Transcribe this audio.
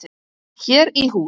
Hér í hús.